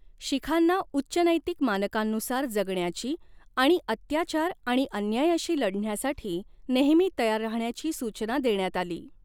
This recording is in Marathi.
शिखांना उच्च नैतिक मानकांनुसार जगण्याची आणि अत्याचार आणि अन्यायाशी लढण्यासाठी नेहमी तयार राहण्याची सूचना देण्यात आली.